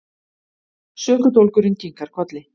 Sökudólgurinn kinkar kolli.